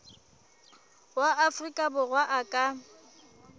wa afrika borwa a ka